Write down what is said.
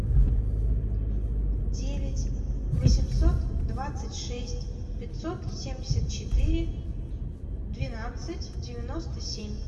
девять восемьсот двадцать шесть пятьсот семьдесят четыре двенадцать девяносто семь